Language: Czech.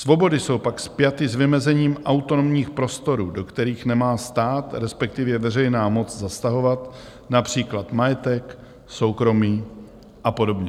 Svobody jsou pak spjaty s vymezením autonomních prostorů, do kterých nemá stát, respektive veřejná moc zasahovat, například majetek, soukromí a podobně.